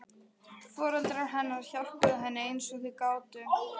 Foreldrar hennar hjálpuðu henni eins og þau gátu.